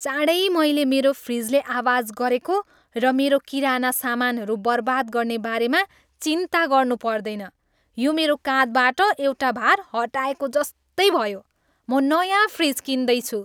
चाँडै मैले मेरो फ्रिजले आवाज गरेको र मेरो किराना सामानहरू बर्बाद गर्ने बारेमा चिन्ता गर्नु पर्दैन, यो मेरो काँधबाट एउटा भार हटाएको जस्तै भयो। म नयाँ फ्रिज किन्दैछु।